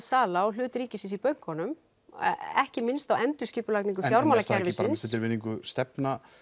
sala á hlut ríkisins í bönkunum ekki minnst á endurskipulagningu fjármálakerfisins er virðingu stefna